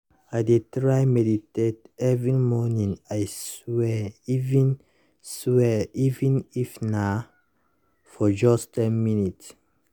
i dey try meditate every morning i swear even swear even if na for just ten minutes